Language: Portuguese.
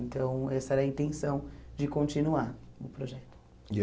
Então, essa era a intenção de continuar o projeto. E